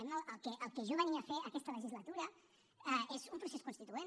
el que jo venia a fer aquesta legislatura és un procés constituent